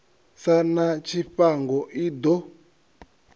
sa na tshifhango i ḓo